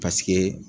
Paseke